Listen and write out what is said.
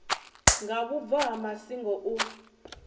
nga vhubvo ha masingo u